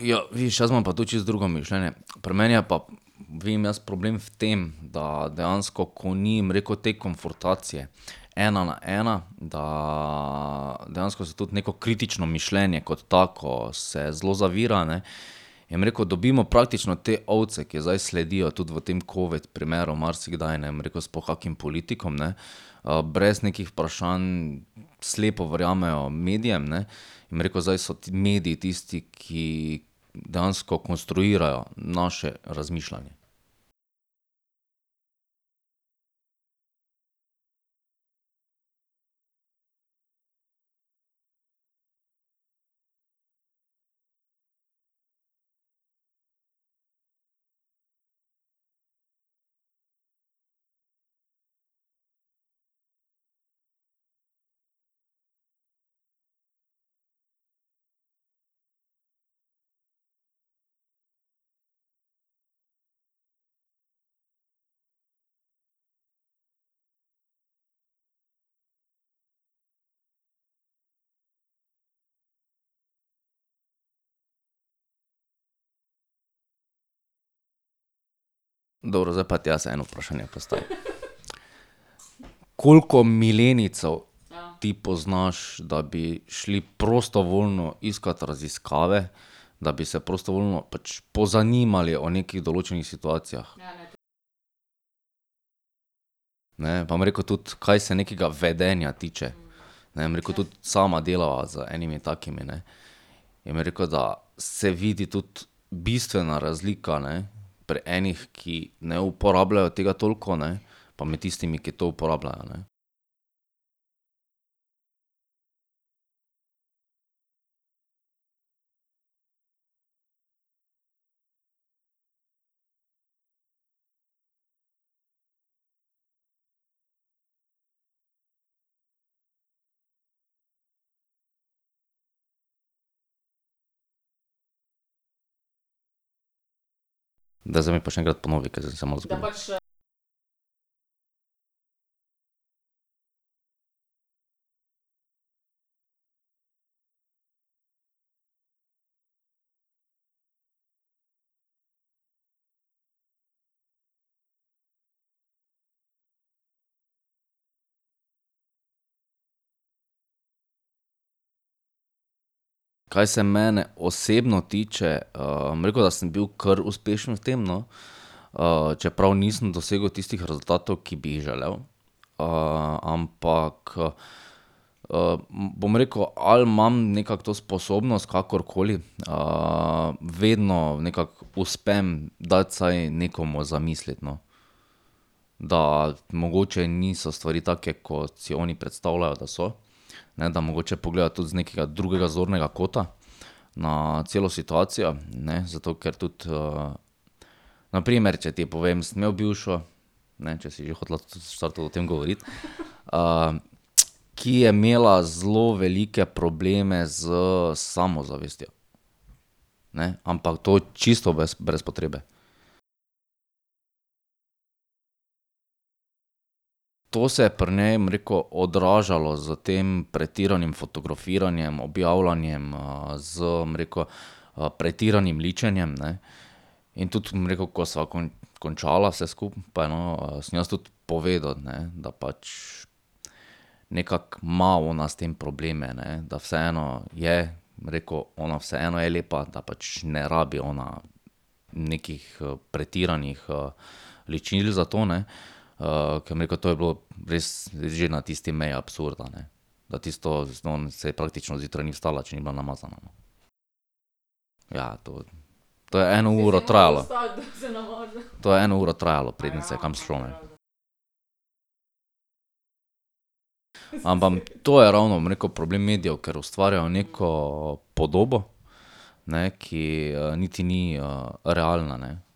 ja, vidiš, jaz imam pa tu čisto drugo mišljenje. Pri meni je pa vidim jaz problem v tem, da dejansko, ko ni, bom rekel, te konfrontacije ena na ena, da dejansko se tudi neko kritično mišljenje kot tako se zelo zavira, ne, in, bom rekel, dobimo praktično te ovce, ki zdaj sledijo, tudi v tem covid primeru marsikdaj, ne, bom rekel, sploh kakim politikom, ne, brez nekih vprašanj, slepo verjamejo medijem, ne. Bom rekel, zdaj so mediji tisti, ki dejansko konstruirajo naše razmišljanje. Dobro, zdaj pa ti jaz eno vprašanje postavim. Koliko milenijcev ti poznaš, da bi šli prostovoljno iskati raziskave, da bi se prostovoljno pač pozanimali o nekih določenih situacijah? Ne, pa bom rekel tudi, kaj se nekega vedenja tiče. Ne, bom rekel, tudi sama delava z enimi takimi, ne. In bom rekel, da se vidi tudi bistvena razlika, ne, pri enih, ki ne uporabljajo tega toliko, ne, pa med tistimi, ki to uporabljajo, ne. Daj, zdaj mi pa še enkrat ponovi, ker zdaj sem se malo zgubil. Kaj se mene osebno tiče, bom rekel, da sem bil kar uspešen v tem, no, čeprav nisem dosegel tistih rezultatov, ki bi jih želel. ampak, bom rekel, ali imam nekako to sposobnost kakorkoli, vedno nekako uspem dati vsaj nekomu za misliti, no. Da mogoče niso stvari take, kot si oni predstavljajo, da so, ne, da mogoče pogledajo tudi z nekega drugega zornega kota na celo situacijo, ne, zato ker tudi, na primer, če ti povem. Sem imel bivšo, ne, če si že hotela v štartu o tem govoriti, ki je imela zelo velike probleme s samozavestjo, ne. Ampak to čisto brez potrebe. To se je pri njej, bom rekel, odražalo s tem pretiranim fotografiranjem, objavljanjem, s, bom rekel, pretiranim ličenjem, ne. In tudi, bom rekel, ko sva končala vse skupaj, no, sem jaz tudi povedal, ne, da pač nekako ima ona s tem probleme, ne, da vseeno je, bom rekel, ona vseeno je lepa, da pač ne rabi ona nekih, pretiranih, ličil za to, ne. ko, bom rekel, to je bilo res že na tisti meji absurda, ne. Da tisto, saj praktično zjutraj ni vstala, če ni bila namazana, no. Ja, to, to je eno uro trajalo, to je eno uro trajalo, preden se je kam šlo, ne. Ampak to je ravno, bom rekel, problem medijev, ker ustvarjajo neko podobo, ne, ki niti ni, realna, ne.